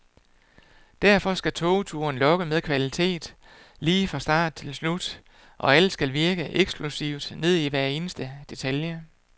Derfor skal togturen lokke med kvalitet, lige fra start til slut, alt skal virke eksklusivt ned i hver eneste detalje.